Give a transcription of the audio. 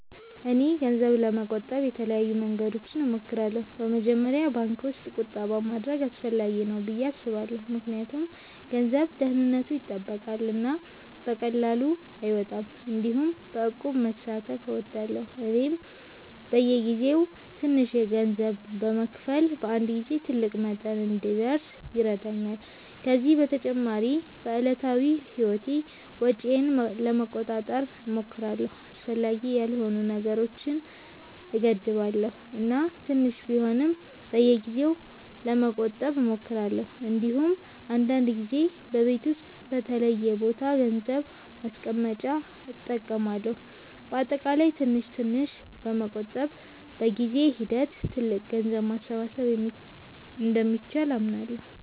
እኔ ገንዘብ ለመቆጠብ የተለያዩ መንገዶችን እሞክራለሁ። በመጀመሪያ ባንክ ውስጥ ቁጠባ ማድረግ አስፈላጊ ነው ብዬ አስባለሁ ምክንያቱም ገንዘቡ ደህንነቱ ይጠበቃል እና በቀላሉ አይወጣም። እንዲሁም በእቁብ መሳተፍ እወዳለሁ፣ ይህም በየጊዜው ትንሽ ገንዘብ በመክፈል በአንድ ጊዜ ትልቅ መጠን እንዲደርስ ይረዳኛል። ከዚህ በተጨማሪ በዕለታዊ ህይወቴ ወጪዬን ለመቆጣጠር እሞክራለሁ፣ አስፈላጊ ያልሆኑ ነገሮችን እገድባለሁ እና ትንሽ ቢሆንም በየጊዜው ለመቆጠብ እሞክራለሁ። እንዲሁም አንዳንድ ጊዜ በቤት ውስጥ በተለየ ቦታ ገንዘብ ማስቀመጫ እጠቀማለሁ። በአጠቃላይ ትንሽ ትንሽ በመቆጠብ በጊዜ ሂደት ትልቅ ገንዘብ ማሰባሰብ እንደሚቻል አምናለሁ።